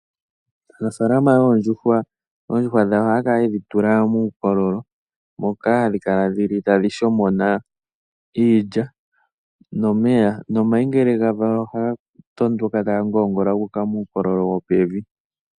Aanafalama yoondjuhwa ohaya yedhi tula muukololo moka hadhi kala tadhi shomona iilya nomeya. Omayi ngele ga valwa ohaga tondoka taga ngongola guuka puukololo wopevi.